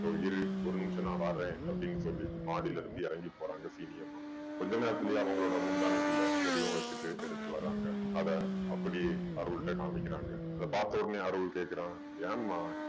இதோ இரு ஒரு நிமிஷம் நான் வர்றேன் அப்படீன்னு சொல்லி மாடிலேருந்து இறங்கி போறாங்க சீனி அம்மா. கொஞ்ச நேரத்துலயே அவங்களோட முந்தானைக்குள்ள எதையோ வெச்சுட்டு எடுத்துட்டு வர்றாங்க. அதை அப்படியே அருள் கிட்ட காமிக்கறாங்க. அதை பாத்ததுமே அருள் கேக்குறான் ஏம்மா